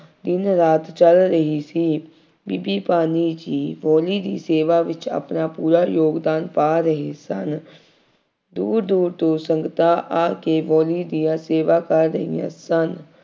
ਦਿਨ ਰਾਹ ਚੱਲ ਰਹੀ ਸੀ। ਬੀਬੀ ਭਾਨੀ ਜੀ ਬਾਊਲੀ ਦੀ ਸੇਵਾ ਵਿੱਚ ਆਪਣਾ ਪੂਰਾ ਯੋਗਦਾਨ ਪਾ ਰਹੇ ਸਨ। ਦੂਰ ਦੂਰ ਤੋਂ ਸੰਗਤਾਂ ਆ ਕੇ ਬਾਊਲੀ ਦੀਆਂ ਸੇਵਾ ਕਰ ਰਹੀਆਂ ਸਨ।